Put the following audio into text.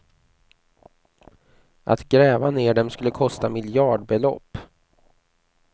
Att gräva ner dem skulle kosta miljardbelopp.